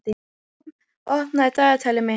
Vorm, opnaðu dagatalið mitt.